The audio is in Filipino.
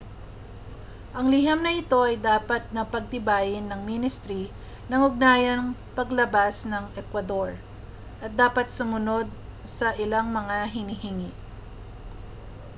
ang liham na ito ay dapat na pagtibayin ng ministri ng ugnayang panlabas ng ecuador at dapat sumunod sa ilang mga hinihingi